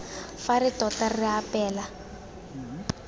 fa re tota re apeela